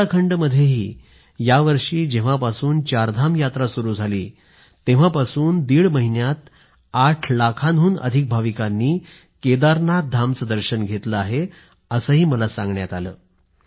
उत्तराखंडमध्येही यावर्षी जेव्हापासून चारधाम यात्रा सुरू झाली आहे तेव्हापासून दीड महिन्यात 8 लाखांहून अधिक भाविकांनी केदारनाथ धामचं दर्शन घेतलं आहे असंही मला सांगण्यात आलं आहे